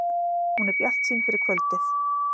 Hún er bjartsýn fyrir kvöldið